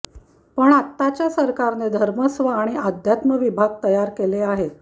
पण आताच्या सरकारने धर्मस्व आणि आध्यात्म विभाग तयार केले आहेत